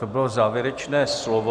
To bylo závěrečné slovo.